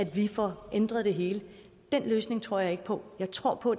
vi få ændret det hele den løsning tror jeg ikke på jeg tror på